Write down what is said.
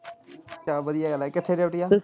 ਕਿਆ ਵਧੀਆ ਗੱਲਾਂ ਆ ਕਿੱਥੇ duty ਆ?